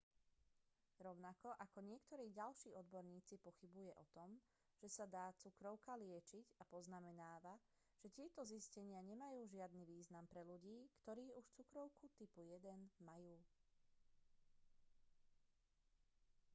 rovnako ako niektorí ďalší odborníci pochybuje o tom že sa dá cukrovka liečiť a poznamenáva že tieto zistenia nemajú žiadny význam pre ľudí ktorí už cukrovku 1. typu majú